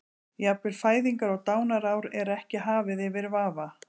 Jafnvel fæðingar- og dánarár er ekki hafið yfir vafa.